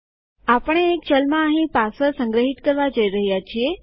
આપણે એક ચલમાં અહીં પાસવર્ડ સંગ્રહિત કરવા જઈ રહ્યા છીએ